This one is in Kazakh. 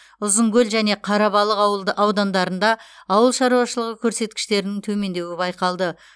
ұзынкөл және қарабалық аудандарында ауыл шаруашылығы көрсеткіштерінің төмендеуі байқалды